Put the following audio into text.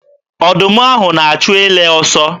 Ọdụm ahụ na-achụ ele ọsọ.